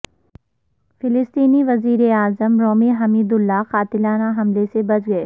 فلسطینی وزیراعظم Rami Hamdallah قاتلانہ حملے میں بچ گئے